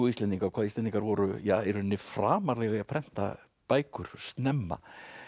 Íslendinga hvað Íslendingar voru í rauninni framarlega í að prenta bækur snemma